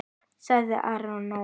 sagði Arnór.